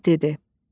Əhməd dedi: